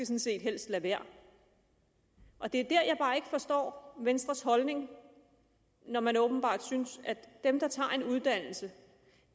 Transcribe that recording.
set helst lade være det er dér jeg bare ikke forstår venstres holdning når man åbenbart synes at dem der tager en uddannelse